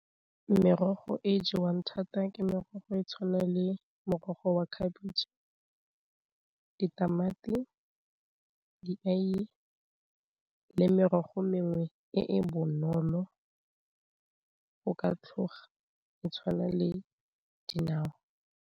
Merogo e jewang thata ke merogo e tshwana le morogo wa khabitšhe, ditamati, dieye, le merogo mengwe e e bonolo go ka tlhoga e tshwana le dinawa.